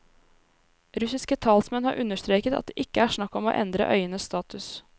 Russiske talsmenn har understreket at det ikke er snakk om å endre øyenes status.